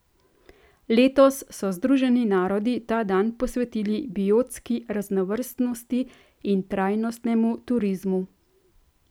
Letos so Združeni narodi ta dan posvetili biotski raznovrstnosti in trajnostnemu turizmu.